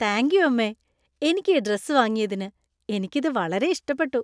Thank you അമ്മേ ! എനിക്ക് ഈ ഡ്രസ്സ് വാങ്ങിയതിന്, എനിക്ക് ഇത് വളരെ ഇഷ്ടപ്പെട്ടു.